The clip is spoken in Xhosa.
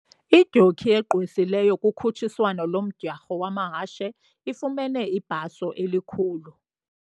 Idyoki egqwesileyo kukhutshiswano lomdyarho wamahashe ifumene ibhaso elikhulu.